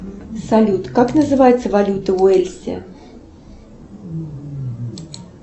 салют как называется валюта в уэльсе